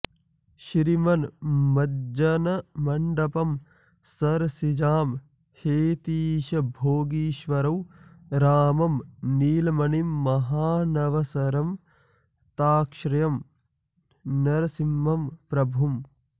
श्रीमन्मज्जनमण्डपं सरसिजां हेतीशभोगीश्वरौ रामं नीलमणिं महानसवरं तार्क्ष्यं नृसिंहं प्रभुम्